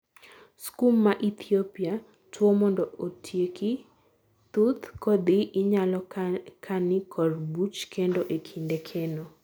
skum ma ithiopia; tuo mondo otieki thuth kodhi inyalo kani kor buch kendo e kinde keno